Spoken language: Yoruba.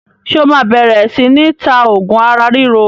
Ṣé o máa bẹ̀rẹ̀ sini ta oògùn ara ríro?